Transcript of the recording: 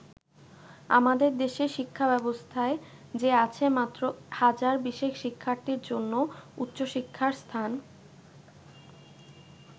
আমাদের দেশের শিক্ষাব্যবস্থায় যে আছে মাত্র হাজার বিশেক শিক্ষার্থীর জন্য উচ্চশিক্ষার স্থান।